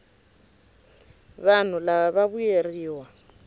vanhu lava va vuyeriwa